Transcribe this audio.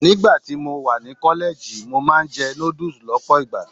Nígbà tí mo wà ní kọ́lẹ́ẹ̀jì, mo máa ń jẹ noodles lọ́pọ̀ ìgbà.